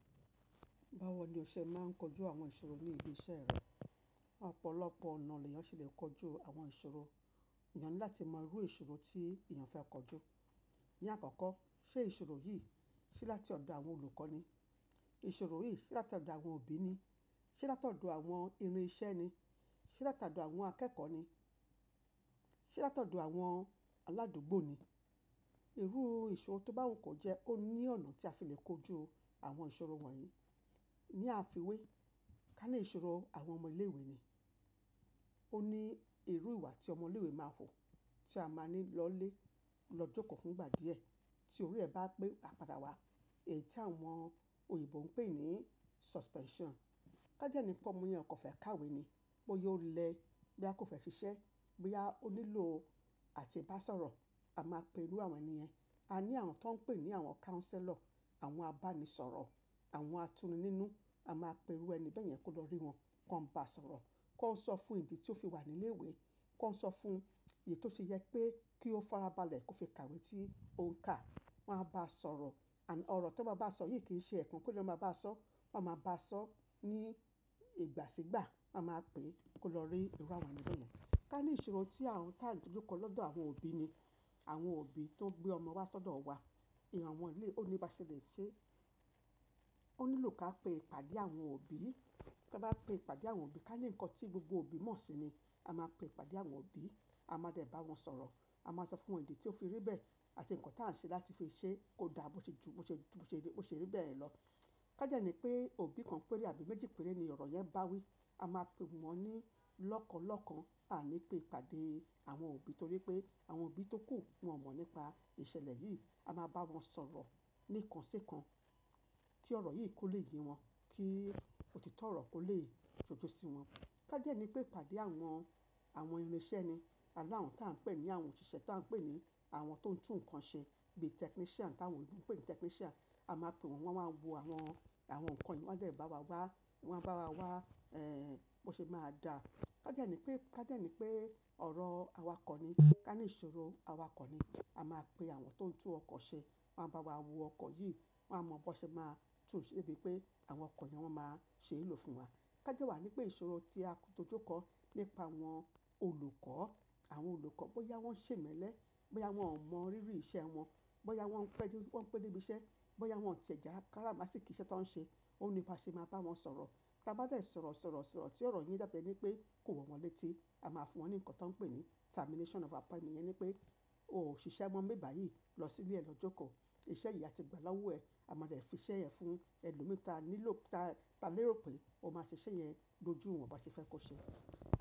Báwo ni o ṣe máa ń kojú àwọn ìṣòro ní ibi iṣẹ́ rẹ? Ọ̀pọ̀lọpọ̀ ọ̀nà ni èèyàn ṣe lè kojú àwọn ìṣòro. Èèyàn ni láti mò irú ìṣòro tí èèyàn fẹ́ kojú. Ni àkọ́kọ́, ṣe ìṣòro yìí ṣe láti ọ̀dọ̀ àwọn olùkọ́ ni? Ìṣòro yìí ṣe láti ọ̀dọ̀ àwọn òbí ni? Ṣe láti ọ̀dọ̀ àwọn irin iṣẹ́ ni? Ṣe láti ọ̀dọ̀ àwọn akẹ́kọ̀ọ́ ni? Ṣe láti ọ̀dọ̀ àwọn aládùúgbò ni? Irú ìṣòro tó bá wù kó jẹ́, ó ní ọ̀nà tí a fi lè kojú àwọn ìṣòro wọ̀nyí. Ni àfiwé, ká ní ìṣòro àwọn ọmọ ilé ìwé ni. Ó ní irú ìwà tí ọmọ ilé ìwé máa wù, tí a máa ní lọlé, lọ jókòó fún ìgbà díẹ̀, tí orí rẹ̀ bá pé a padà wá. Èyí tí àwọn òyìnbó ń pè ní suspension. Ká dé ni pé ọmọ yẹn kò fẹ́ kàwé ni, bóyá ó lẹ, bóyá kò fẹ́ ṣiṣẹ́, bóyá ó nílò àti bá sọ̀rọ̀. A máa pe irú àwọn ènìyàn. A ní àwọn tó ń pè ní àwọn counselor, àwọn abánisọ̀rọ̀, àwọn atúnininu. A máa pe irú ẹni bẹ́ẹ̀ yẹn kó lọ rí wọn, kó n bá sọ̀rọ̀, kó n sọ fún ìdí tí ó fi wà ní ilé ìwé, kó n sọ fún èyí tó ṣe yẹ pé kí ó farabalẹ̀ kó fi kàwé tí òun ka. Wọn á bá a sọ̀rọ̀. Àní ọ̀rọ̀ tó máa bá a sọ yìí kì í ṣe ẹ̀kan pére lọ máa bá sọ, wọ́n máa bá a sọ ní ìgbà sígbà. Wọ́n máa pè é kó lọ rí irú àwọn ènì bẹ́ẹ̀ yẹn. Ká ní ìṣòro tí à ń, tàǹ dójú kọ́ lọ́dọ̀ àwọn òbí ni. Àwọn òbí tó gbé ọmọ wa sọ́dọ̀ wa. Ìran awọn éle, ó ní ba ṣe lè ṣe. Ó nílò ká pé ìpàdé àwọn òbí. Ká bá pè ìpàdé àwọn òbí. Ká ní nǹkan tí gbogbo òbí mọ̀ sí ni. A máa pè ìpàdé àwọn òbí. A máa dẹ̀ bá wọn sọ̀rọ̀. A máa sọ fún wọn ìdí tí ó fi rí bẹ́ẹ̀ àti nǹkan tí à ń ṣe láti fi ṣe kó dà bó ṣe ju, bó ṣe ju, bó ṣe rí, bó ṣe rí bẹ́ẹ̀ lọ. Ká dé ni pé òbí kan péré àbí méjì péré ni ọ̀rọ̀ yẹn bá wí. A máa pe wọ́n ní lọ́kàn lọ́kàn. A ní pé ìpàdé àwọn òbí torí pé àwọn òbí tó kù, wọ́n mọ̀ nípa ìṣẹ̀lẹ̀ yìí. A máa bá wọn sọ̀rọ̀ níkan si kan kí ọ̀rọ̀ yìí kó lè yé wọn, kí òtítọ́ ọ̀rọ̀ kó lè ṣojú sí wọn. Ká dé ni pé ìpàdé àwọn, àwọn irin iṣẹ́ ni. A ní àwon tí à ń pè ní àwọn òṣìṣẹ́ tí à ń pè ní àwọn tó ń tún nǹkan ṣe bí technician táwọn òbí ń pè ní technician. A máa pe wọn, wọ́n á wa wo àwọn, àwọn nǹkan yìí. Wọ́n dẹ̀ bá wa wá, wọ́n á bá wa wá, bó ṣe máa dà. Ká dé ni pé, ká dé ni pé ọ̀rọ̀ awakọ̀ ni. Ká ní ìṣòro awakọ̀ ni. A máa pe àwọn tó ń tún ọkọ̀ ṣe. Wọn á bá wa wo ọkọ̀ yìí. Wọn á mọ bó ṣe máa tún ṣe bí pé àwọn ọkọ̀ yẹn wọ́n máa ṣe lò fún wa. Ká dé wà ní pé ìṣòro tí a tọjú kọ́ nípa àwọn olùkọ́. Àwọn olùkọ́ bóyá wọ́n ṣè mọ́lẹ̀, bóyá wọ́n ò mọ rírí iṣẹ́ wọn, bóyá wọ́n pẹ́ dé, wọ́n pẹ́ débi iṣẹ́, bóyá wọ́n ti jẹ̀ à kárámá sì kí iṣẹ́ tó ń ṣe, ó níba ṣe máa bá wọn sọ̀rọ̀. Tá bá dẹ̀ sọ̀rọ̀ sọ̀rọ̀ sọ̀rọ̀ tí ọ̀rọ̀ yìí dàbí ẹni pé kò wọ̀ wọ́n létí, a máa fún wọn ní nǹkan tí wọ́n ń pè ní termination of appointment. Yẹn ni pé o ò ṣiṣẹ́ mọ̀ n bi báyìí, lọ sílé ẹ lọ jókòó. Ìṣẹ́ yìí a ti gbà lowo ẹ. A máa dẹ̀ fi iṣẹ́ ẹ fún ẹlòmí ta nílò, ta lérò pé ó máa ṣe iṣẹ́ yẹn ló jù wọn ba ṣe fẹ́ kó ṣe.